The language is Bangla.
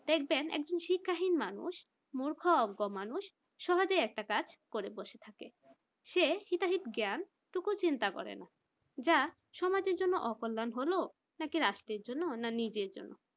দেখবেন একজন শিক্ষাহীন মানুষ মূর্খ অজ্ঞ মানুষ সহজেই একটা কাজ করে বসে থাকবে। সে হেদায়েত জ্ঞান টুকু চিন্তা করে না। যা সমাজের জন্য অকল্যাণ হলেও রাষ্ট্রের জন্য না নিজের জন্য